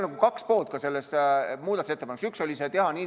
Tegelikult on selles muudatusettepanekus kaks poolt.